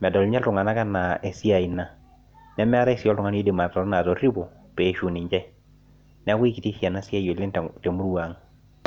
medol ninye iltunganak anaa esiai ina. nemeetae sii oltungani oidim atoripo. neeku ikiti ena siai oleng temurua ang.